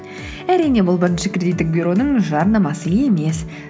әрине бұл бірінші кредиттік бюроның жарнамасы емес